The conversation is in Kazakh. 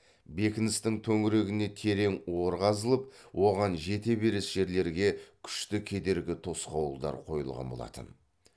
бекіністің төңірегіне терең ор қазылып оған жете беріс жерлерге күшті кедергі тосқауылдар қойылған болатын